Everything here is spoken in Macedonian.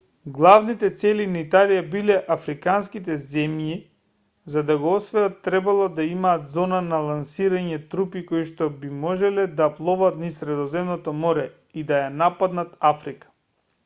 главните цели на италија биле африканските земји за да ги освојат требало да имаат зона за лансирање трупи коишто би можеле да пловат низ средоземното море и да ја нападнат африка